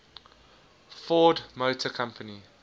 ford motor company